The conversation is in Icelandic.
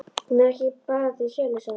Hún er bara ekki til sölu, sagði hún.